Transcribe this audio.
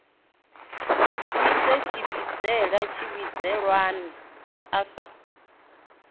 dzivhise muvhidzi tshivhidzelwa a sa